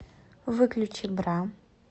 выключи бра